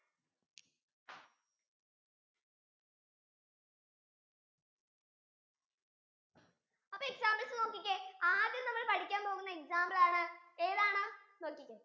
അപ്പൊ examples നോക്കിക്കേ ആദ്യം നമ്മൾ പഠിക്കാൻ പോകുന്ന examples ആണ് ഏതാണ് നോക്കിക്കേ